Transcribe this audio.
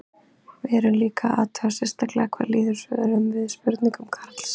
Við erum líka að athuga sérstaklega hvað líður svörum við spurningum Karls.